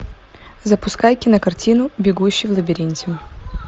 запускай кинокартину бегущий в лабиринте